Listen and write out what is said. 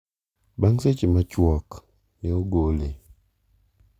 bang seche ma chuok ne ogole